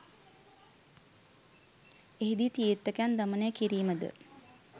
එහිදී තීර්ථකයන් දමනය කිරීමද